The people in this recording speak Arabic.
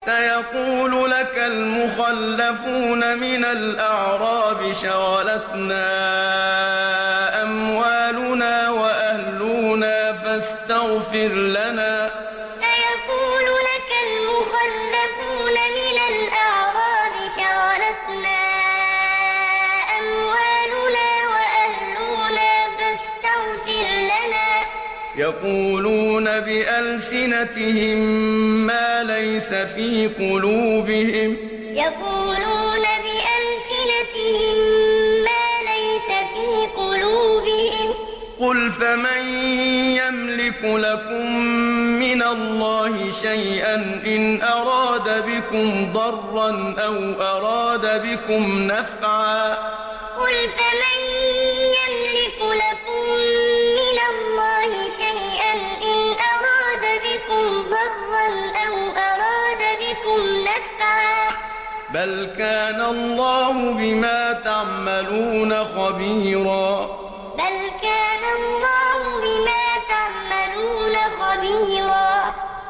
سَيَقُولُ لَكَ الْمُخَلَّفُونَ مِنَ الْأَعْرَابِ شَغَلَتْنَا أَمْوَالُنَا وَأَهْلُونَا فَاسْتَغْفِرْ لَنَا ۚ يَقُولُونَ بِأَلْسِنَتِهِم مَّا لَيْسَ فِي قُلُوبِهِمْ ۚ قُلْ فَمَن يَمْلِكُ لَكُم مِّنَ اللَّهِ شَيْئًا إِنْ أَرَادَ بِكُمْ ضَرًّا أَوْ أَرَادَ بِكُمْ نَفْعًا ۚ بَلْ كَانَ اللَّهُ بِمَا تَعْمَلُونَ خَبِيرًا سَيَقُولُ لَكَ الْمُخَلَّفُونَ مِنَ الْأَعْرَابِ شَغَلَتْنَا أَمْوَالُنَا وَأَهْلُونَا فَاسْتَغْفِرْ لَنَا ۚ يَقُولُونَ بِأَلْسِنَتِهِم مَّا لَيْسَ فِي قُلُوبِهِمْ ۚ قُلْ فَمَن يَمْلِكُ لَكُم مِّنَ اللَّهِ شَيْئًا إِنْ أَرَادَ بِكُمْ ضَرًّا أَوْ أَرَادَ بِكُمْ نَفْعًا ۚ بَلْ كَانَ اللَّهُ بِمَا تَعْمَلُونَ خَبِيرًا